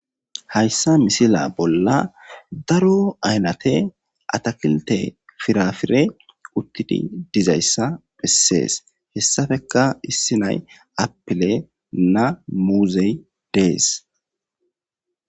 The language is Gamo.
hayssa misila bolla daro aynate atakilte firafire uttidi dizayssa bessees hessappeka issi nay appile na muuzey dees